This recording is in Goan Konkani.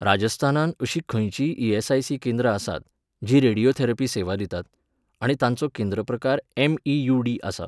राजस्थानांत अशीं खंयचींय ईएसआयसी केंद्रां आसात, जीं रेडियोथेरपी सेवा दितात? आनी तांचो केंद्र प्रकार एम.इ.यू.डी. आसा?